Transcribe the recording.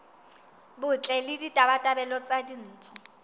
botle le ditabatabelo tsa ditho